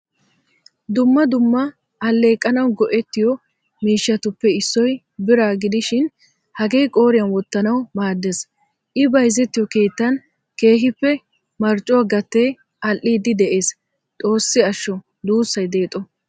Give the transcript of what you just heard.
Dumma dumma alleqanawu goettiyo miishshatuppe issoy bira gidishin hagee qooriyan wottanawu maaddees. I bayzzetiyo keettan keehippe marccuwaa gatee all'idi de'ees. Xoossi ashsho dussay deexo!